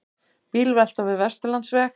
Bílvelta við Vesturlandsveg